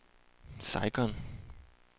Saigon